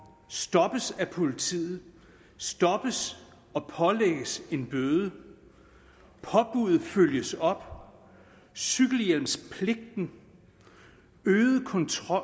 stoppes af politiet stoppes og pålægges en bøde påbuddet følges op cykelhjelmspligten øget kontrol